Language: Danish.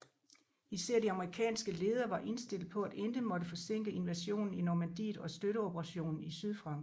Især de amerikanske ledere var indstillet på at intet måtte forsinke invasionen i Normandiet og støtteoperationen i Sydfrankrig